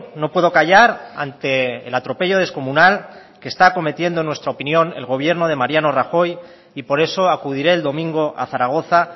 no puedo callar ante el atropello descomunal que está cometiendo en nuestra opinión el gobierno de mariano rajoy y por eso acudiré el domingo a zaragoza